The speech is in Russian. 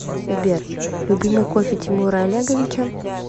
сбер любимый кофе тимура олеговича